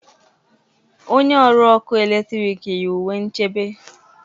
Onye ọrụ ọkụ eletrik yi uwe nchebe